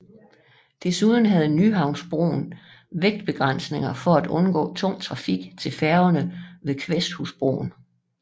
Desuden havde Nyhavnsbroen vægtbegrænsninger for at undgå tung trafik til færgerne ved Kvæsthusbroen